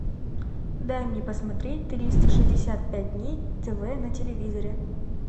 дай мне посмотреть триста шестьдесят пять дней тв на телевизоре